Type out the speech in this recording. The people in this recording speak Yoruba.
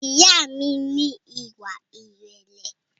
Ìyá a mi ní ìwà ìrẹ̀lẹ̀